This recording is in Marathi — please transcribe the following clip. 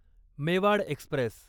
मेवाड एक्स्प्रेस